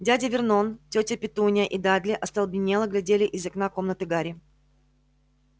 дядя вернон тётя петунья и дадли остолбенело глядели из окна комнаты гарри